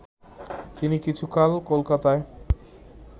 তিনি কিছুকাল কলকাতায়